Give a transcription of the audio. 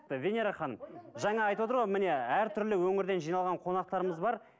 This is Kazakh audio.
венера ханым жаңа айтыватыр ғой міне әртүрлі өңірден жиналған қонақтарымыз бар